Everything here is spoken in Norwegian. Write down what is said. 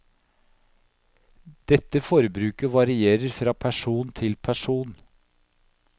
Dette forbruket varierer fra person til person.